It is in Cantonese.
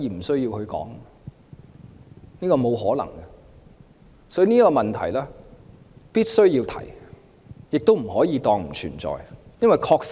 所以，普選的問題必須要提出，亦不可以當作不存在。